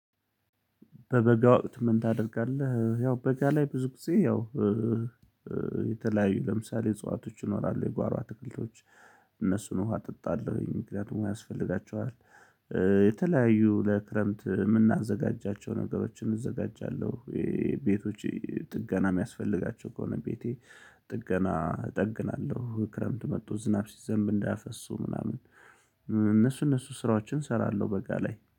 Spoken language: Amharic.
በበጋ ወቅት ምን ታደርጋለህ? ያው በጋ ላይ ብዙ ጊዜ ያው የተለያዩ ለምሳሌ እጽዋቶች ይኖራሉ የጓሮ አትክልቶች። እነሱን ውሃ እጠጣለሁኝ ምክንያቱም ዉሃ ያስፈልጋቸዋል። የተለያዩ ለክረምት የምናዘጋጃቸው ነገሮችን እዘጋጃለሁ። ይሄ ቤቶች ጥገና የሚያስፈልጋቸው ከሆነ ቤቴ ጥገና እጠግናለሁ ክረምት መጡ ዝናብ ሲዘንብ እንዳያፈሱ ምናምን። እነሱ እነሱ ስራዎችን እሰራለሁ በጋ ላይ